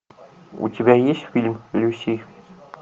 у тебя есть фильм люси